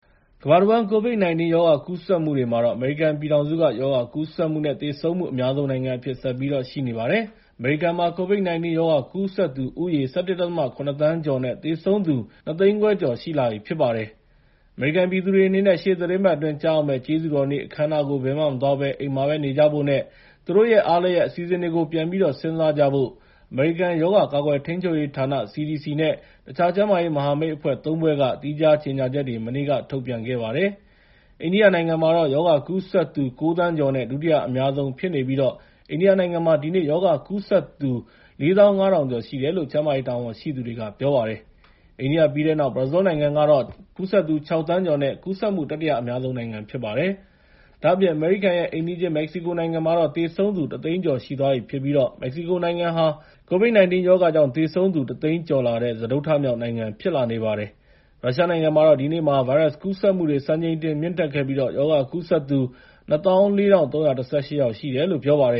ကမ္ဘာတဝန်း ကိုဗစ်-၁၉ ရောဂါကူးစက်မှုတွေမှာတော့ အမေရိကန်ပြည်ထောင်စုက ရောဂါကူးစက်မှု နဲ့ သေဆုံးမှု အများဆုံးနိုင်ငံအဖြစ် ဆက်ရှိနေပါတယ်။ အမေရိကန်မှာ ကိုဗစ်-၁၉ ရောဂါကူးစက်သူဦးရေ ၁၁.၇ သန်းကျော် နဲ့ သေဆုံးသူ ၂ သိန်းခွဲကျော်ရှိလာနေပြီဖြစ်ပါတယ်။ အမေရိကန်ပြည်သူတွေအနေနဲ့ ရှေ့သီတင်းပတ်အတွင်း ကျရောက်မယ့် ကျေးဇူးတော်နေ့ အခမ်းအနားကို ဘယ်မှမသွားဘဲ အိမ်မှာဘဲနေကြဖို့နဲ့ သူတို့ရဲ့ အားလပ်ရက်အစီအစဉ်တွေကို ပြန်ပြီးတော့စဉ်းစားကြဖို့ အမေရိကန် ရောဂါကာကွယ်ထိန်းချုပ်ရေးဌာန (CDC) နဲ့ တခြား ကျန်းမာရေးမဟာမိတ်အဖွဲ့ ၃ ဖွဲ့က သီးခြားကြေငြာချက်တွေ မနေ့က ထုတ်ပြန်ခဲ့ပါတယ်။ အိန္ဒိယနိုင်ငံကတော့ ရောဂါကူးစက်သူ ၉ သန်းကျော် နဲ့ ဒုတိယအများဆုံးဖြစ်နေပြီး အိန္ဒိယနိုင်ငံမှာ ဒီနေ့ ရောဂါကူးစက်သူ ၄၅,၀၀၀ ကျော်ရှိတယ်လို့ ကျန်းမာရေးတာဝန်ရှိသူတွေပြောပါတယ်။ အိန္ဒိယပြီးတဲ့နောက် ဘရာဇီးလ်နိုင်ငံမှာတော့ ၆ သန်းကျော်နဲ့ ကူးစက်မှုတတိယအများဆုံးဖြစ်ပါတယ်။ ဒါ့အပြင် အမေရိကန်ရဲ့ အိမ်နီးချင်း မက္ကဆီကိုနိုင်ငံမှာတော့ သေဆုံးသူ ၁ သိန်းကျော်ရှိသွားပြီဖြစ်ပြီး မက္ကဆီကိုနိုင်ငံဟာ ကိုဗစ် ၁၉ ရောဂါကြောင့် သေဆုံးသူ ၁ သိန်းကျော်လာတဲ့ စတုတ္တမြောက်နိုင်ငံဖြစ်လာနေပါတယ်။ ရုရှားနိုင်ငံမှာတော့ ဒီနေ့မှာ ဗိုင်းရပ်စ်ကူးစက်မှုတွေ စံချိန်တင်မြင့်တက်ခဲ့ပြီး။ ရောဂါကူးစက်သူ ၂၄,၃၁၈ ယောက်ရှိတယ်လို့ပြောါတယ